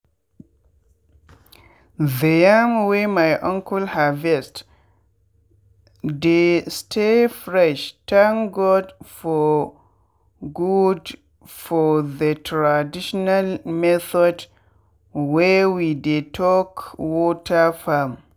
the yam wey my uncle harvest dey stay freshthank god for god for the traditional method wey we dey talk water farm.